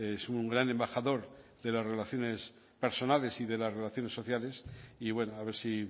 es un gran embajador de las relaciones personales y de las relaciones sociales y bueno a ver si